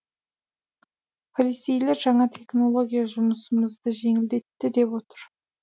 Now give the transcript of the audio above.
полицейлер жаңа технология жұмысымызды жеңілдетті деп отыр